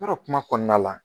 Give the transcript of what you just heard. Wɔrɔ kuma kɔnɔna la